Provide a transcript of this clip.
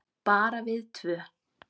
Bara við tvö.